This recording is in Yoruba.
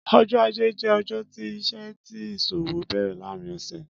Ọjọ á̀jé jẹ̀ ọjọ ti iṣẹ̀ àtí iṣóòwó bẹrẹ làárin ọsẹ